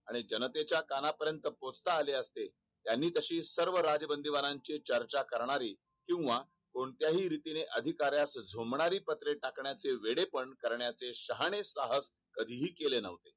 आणि जनतेच्या कानापर्यंत पोहोचता आले असते त्यानी तशी सर्व राजबंदीबाणाची चर्चा करणारी किंवा कोणत्याही अधिकारास झोबणारी पत्रे टाकण्याचे वेडेपण करण्याचे शहाणे साहस कधीही केले नव्हते